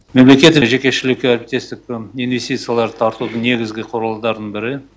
мемлекет жекешілік әріптестік инвестицияларды тартудың негізгі құралдардың бірі